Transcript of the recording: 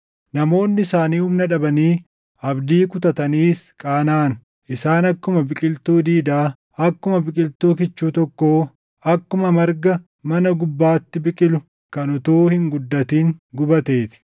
Namoonni isaanii humna dhabanii abdii kutataniis qaanaʼan. Isaan akkuma biqiltuu diidaa, akkuma biqiltuu kichuu tokkoo, akkuma marga mana gubbaatti biqilu kan utuu hin guddatin gubatee ti.